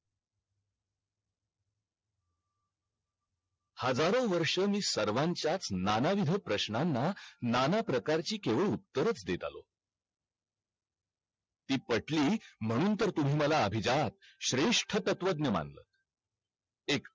हजारो वर्ष मी सर्वांच्या च नानाविध प्रश्नांना नाना प्रकारची केवळच उत्तरच देत आलो ती पटली म्हणून तर तुम्ही मला अभिजात श्रेष्ठ तत्वज्ञ मानल एक